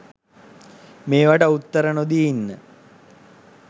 මේවට උත්තර නොදී ඉන්න